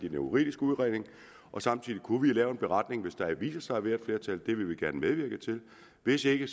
en juridisk udredning og samtidig kunne vi lave en beretning hvis der viser sig at være flertal det vil vi gerne medvirke til hvis ikke